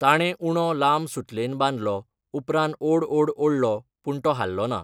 ताणें उंडो लांब सुतलेन बांदलो, उपरांत ओड ओड ओडलो पूण तो हाल्लो ना.